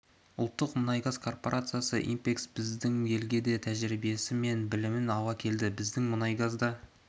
ұлттық мұнай-газ корпорациясы инпекс біздің елге бай тәжірибесі мен білімін ала келді біздің қазмұнайгаз да